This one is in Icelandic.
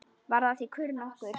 Varð af því kurr nokkur.